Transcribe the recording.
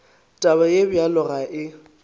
taba ye bjalo ga e